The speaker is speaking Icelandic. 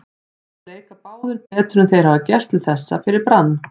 Þeir leika báðir betur en þeir hafa gert til þessa fyrir Brann.